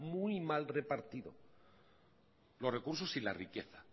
muy mal repartido los recursos y la riqueza